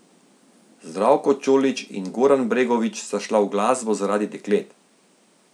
Zdravko Čolić in Goran Bregović sta šla v glasbo zaradi deklet.